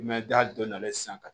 Mɛ da dɔ nalen sisan ka